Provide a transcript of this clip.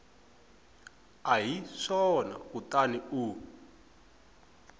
a hi swona kutani u